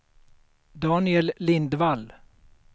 Daniel Lindvall